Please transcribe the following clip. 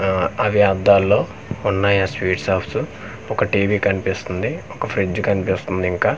ఆ అవి అద్దాల్లో ఉన్నాయి ఆ స్వీట్ షాప్స్ ఒక టీ_వీ కనిపిస్తుంది ఒక ఫ్రిడ్జ్ కనిపిస్తుంది ఇంకా.